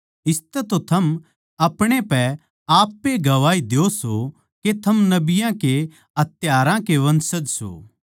इसतै तो थम अपणे पै आप ए गवाही द्यो सो के थम नबियाँ के हत्यारां के वंशज सो